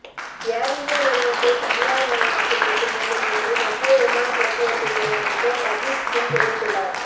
ஏர் India நிறுவனத்தைத் தனியார்மயமாக்கும் திட்டம் இல்லை என்று மத்திய விமானப் போக்குவரத்துத் துறை அமைச்சர் அஜீத் சிங் தெரிவித்துள்ளார்